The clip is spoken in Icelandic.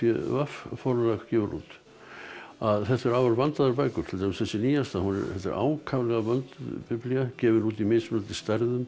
v forlag gefur út þetta eru afar vandaðar bækur til dæmis þessi nýjasta þetta er ákaflega vönduð Biblía gefin út í mismunandi stærðum